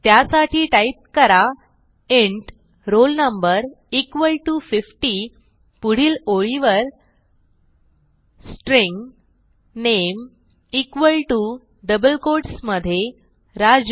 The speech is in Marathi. त्यासाठी टाईप करा int roll no equal to 50 पुढील ओळीवर string name equal to double quotes मधे राजू